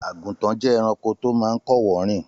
Àgùntàn jẹ́ ẹranko tó máa ń kọ́wọ̀ọ́ rìn